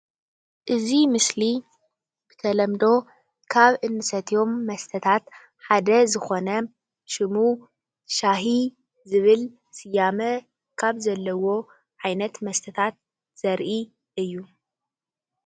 እዚ ምስሊ ብተለምዶ ካብ እንሰትዮም መስተታ ሓደ ዝኾነ ሽሙ ሻሂ ዝብል ስያመ ካብ ዘለዎ ዓይነት መስተታት ዘርኢ እዩ ።